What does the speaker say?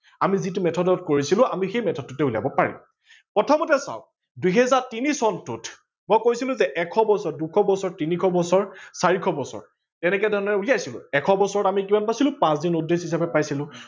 আমি যিটো method ত কৰিছিলো আমি সেই method তে উলিয়াব পাৰিম। প্ৰথমতে চাৱক দুহেজাৰ তিনি চনটোত মই কৈছিলো যে এশ বছৰ দুশ বছৰ তিনিশ বছৰ চাৰিশ বছৰ এনেকে ধৰনে উলিয়াইছিলো। এশ বছৰত আমি কিমান পাইছিলো পাচ দিন odd days হিচাপে পাইছিলো।